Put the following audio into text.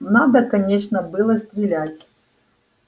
надо конечно было стрелять